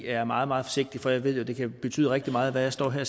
er meget meget forsigtig for jeg ved jo at det kan betyde rigtig meget hvad jeg står her